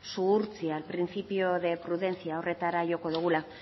zuhurtzia principio de prudencia horretara joko dugula